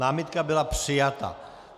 Námitka byla přijata.